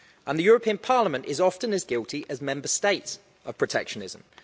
The European Parliament is often as guilty as Member States of protectionism.